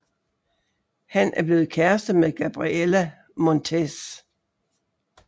Han er blevet kærester med Gabriella Montez